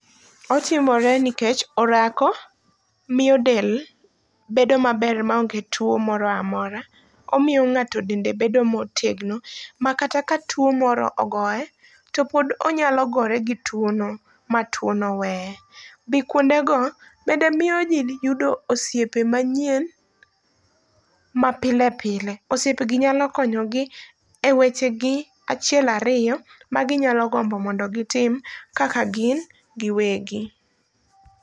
Otimore nikech orako mio del bedo maber maonge two moroamora. Omio ng'ato dende bedo motegno, makata ka two moro ogoe, to pod onyalo gore gi twono ma two no weye. Dhi kuondego bende mio jii yudo osiepe manyien mapile pile. Osiepe gi nyalo konyogi e wechegi achiel ario ma ginyalo gombo mondo gitim kaka gingiwegi.